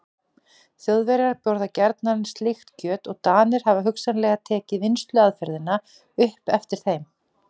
Þjóðverjar borða gjarnan slíkt kjöt og Danir hafa hugsanlega tekið vinnsluaðferðina upp eftir þeim.